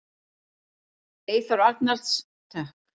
Eyþór Arnalds: Takk.